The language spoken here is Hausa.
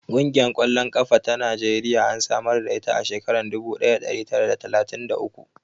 Ƙungiyar ƙwallon ƙafa ta Najeriya an samar da ita a shekarar dubu ɗaya da ɗari tara d talatin da uku.